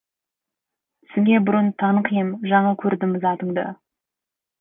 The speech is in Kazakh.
түсіңе бұрын танық ем жаңа көрдім затыңды